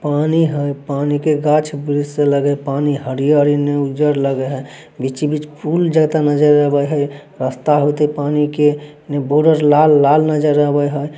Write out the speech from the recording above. पानी है पानी के गाछ-वृक्ष से लगे हैं। पानी हरी-हरी ने उजड़ लगे है। बीच-बीच में फूल जाता नज़र आवे हैं। रास्ता होते पानी के बॉर्डर लाल-लाल नजर आवे हैं।